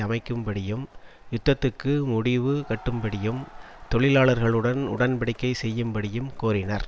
அமைக்கும்படியும் யுத்தத்துக்கு முடிவு கட்டும்படியும் தொழிலாளர்களுடன் உடன் படிக்கை செய்யும்படியும் கோரினர்